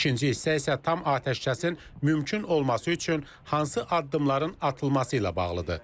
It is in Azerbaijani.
İkinci hissə isə tam atəşkəsin mümkün olması üçün hansı addımların atılması ilə bağlıdır.